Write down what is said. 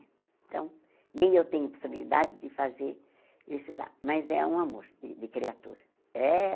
Então, nem eu tenho possibilidade de fazer ele estudar, mas é um amor de de criatura. Eh